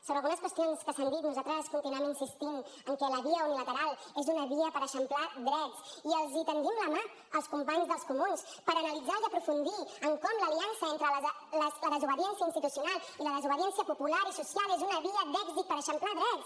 sobre algunes qüestions que s’han dit nosaltres continuem insistint que la via unilateral és una via per eixamplar drets i els estenem la mà als companys dels comuns per analitzar i aprofundir en com l’aliança entre la desobediència institucional i la desobediència popular i social és una via d’èxit per eixamplar drets